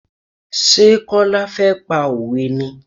Ṣé Kọ́lá fẹ́ pa òwe ni?